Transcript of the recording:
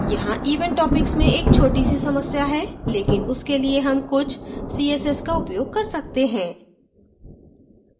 यहाँ event topics में एक छोटी सी समस्या है लेकिन उसके लिए हम कुछ css का उपयोग कर सकते हैं